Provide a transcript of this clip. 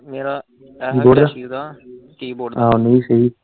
ਮੇਰਾ MSC ਦਾ key board ਦਾ।